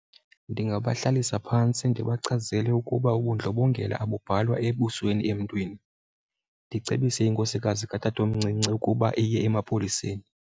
Ndingabahlalisa phantsi ndibachazele ukuba ubundlobongela abubhalwa ebusweni emntwini, ndicebise inkosikazi katatomncinci ukuba iye emapoliseni.